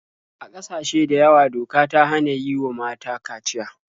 A ƙasashe da yawa doka ta hana yi wa mata kaciya.